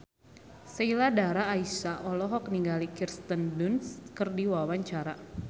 Sheila Dara Aisha olohok ningali Kirsten Dunst keur diwawancara